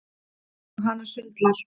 Og hana sundlar.